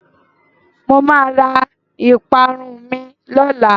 Mo máa ra ìparun mi lọ́la.